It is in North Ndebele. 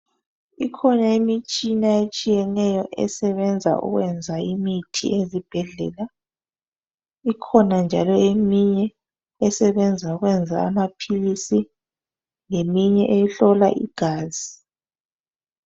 Ikhona imitshina etshiyeneyo esebenza ukwenza imithi ezibhedlela. Ikhona njalo eminye esebenza ukwenza amaphilisi leminye ehlola igazi.